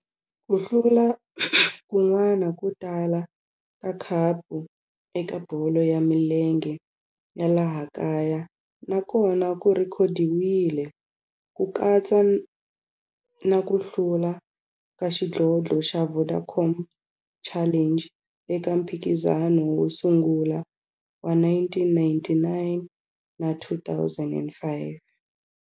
Ku hlula kun'wana ko tala ka khapu eka bolo ya milenge ya laha kaya na kona ku rhekhodiwile, ku katsa na ku hlula ka xidlodlo xa Vodacom Challenge eka mphikizano wo sungula wa 1999 na 2005.